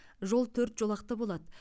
жол төрт жолақты болады